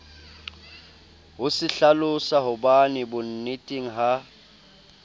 ho se hlalosahobane bonneteng ha